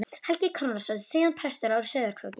Helgi Konráðsson, síðar prestur á Sauðárkróki.